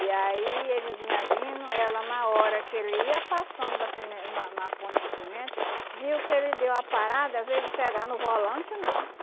E aí ele vinha vindo, ela na hora que ele ia passando da primei na na ponte de pimenta, viu que ele deu a parada, em vez de pegar no volante, não.